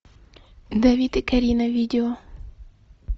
давид и карина видео